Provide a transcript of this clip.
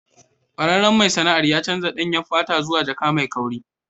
Kwararren mai sana'ar ya canza danyen fata zuwa jaka mai kauri.